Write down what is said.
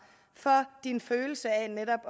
for ens følelse af netop